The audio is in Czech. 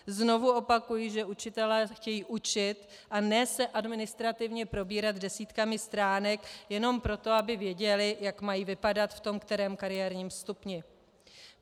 Znovu opakuji, že učitelé chtějí učit, a ne se administrativně probírat desítkami stránek jenom proto, aby věděli, jak mají vypadat v tom kterém kariérním stupni.